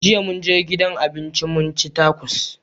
Jiya mun je gidan abinci mun ci takos.